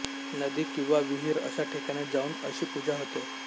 नदी किंवा विहीर अशा ठिकाणी जाऊन अशी पूजा होते